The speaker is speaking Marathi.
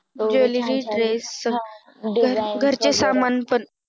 Jwellery dress घरचे सामान पण